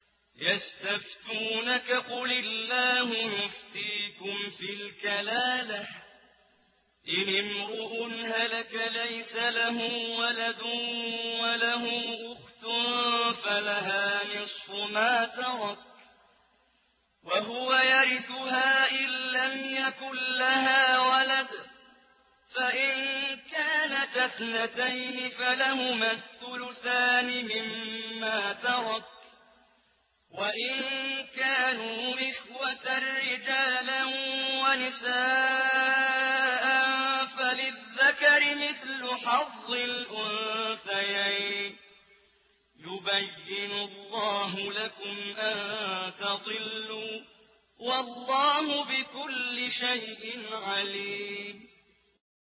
يَسْتَفْتُونَكَ قُلِ اللَّهُ يُفْتِيكُمْ فِي الْكَلَالَةِ ۚ إِنِ امْرُؤٌ هَلَكَ لَيْسَ لَهُ وَلَدٌ وَلَهُ أُخْتٌ فَلَهَا نِصْفُ مَا تَرَكَ ۚ وَهُوَ يَرِثُهَا إِن لَّمْ يَكُن لَّهَا وَلَدٌ ۚ فَإِن كَانَتَا اثْنَتَيْنِ فَلَهُمَا الثُّلُثَانِ مِمَّا تَرَكَ ۚ وَإِن كَانُوا إِخْوَةً رِّجَالًا وَنِسَاءً فَلِلذَّكَرِ مِثْلُ حَظِّ الْأُنثَيَيْنِ ۗ يُبَيِّنُ اللَّهُ لَكُمْ أَن تَضِلُّوا ۗ وَاللَّهُ بِكُلِّ شَيْءٍ عَلِيمٌ